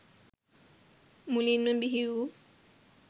මුලින්ම බිහි වූ